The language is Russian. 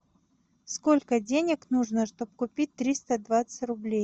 сколько денег нужно чтобы купить триста двадцать рублей